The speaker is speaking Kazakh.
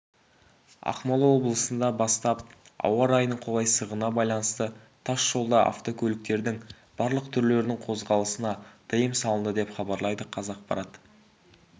ақмола облысында бастап ауа-райының қолайсыздығына байланысты тасжолда автокөліктердің барлық түрлерінің қозғалысына тыйым салынды деп хабарлайды қазақпарат